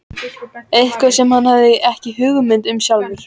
Eitthvað sem hann hafði ekki hugmynd um sjálfur.